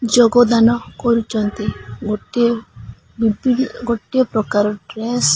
ଯୋଗଦାନ କରୁଛନ୍ତି ଗୋଟିଏ ପ୍ରକାର ଡ୍ରେସ ।